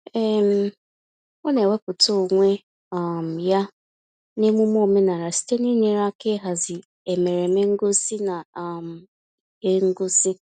um Ọ na-ewepụta onwe um ya n'emune omenaala site n'inyere aka ịhazi emereme ngosi na um ihe ngosi.